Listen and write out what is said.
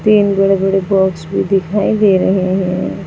तीन बड़े बड़े बॉक्स भी दिखाई दे रहे हैं।